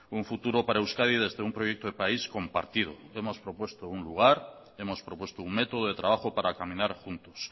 un futuro para euskadi desde un proyecto de país compartido hemos propuesto un lugar hemos propuesto un método de trabajo para caminar juntos